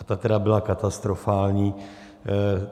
A ta tedy byla katastrofální.